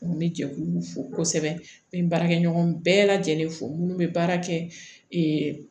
N bɛ jɛkulu fo kosɛbɛ n bɛ n baarakɛ ɲɔgɔn bɛɛ lajɛlen fo minnu bɛ baara kɛ